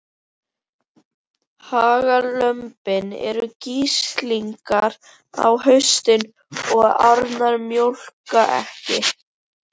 Hagalömbin eru grislingar á haustin og ærnar mjólka ekki.